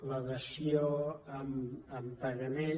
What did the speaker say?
la dació en pagament